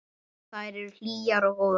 Þær eru hlýjar og góðar.